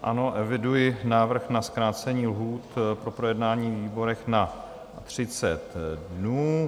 Ano, eviduji návrh na zkrácení lhůt na projednání ve výborech na 30 dnů.